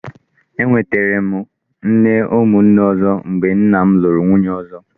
E nwètèrè m nne umu nne ọzọ mgbe nna m lụrụ nwunye ọzọ.